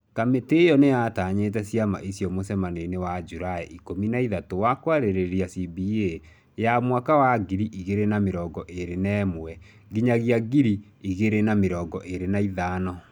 Kamĩtĩ ĩyo nĩ yatanyĩte ciama icio mũcemanio-inĩ wa Julaĩ ikũmi na ithatũ wa kwarĩrĩria CBA ya mwaka wa ngiri igĩrĩ na mĩrongo ĩrĩ na ĩmwe-ngiri igĩrĩ na mĩrongo ĩrĩ na ithano.